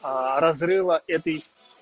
разрыва этой